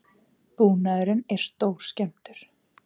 Búnaðurinn er stórskemmdur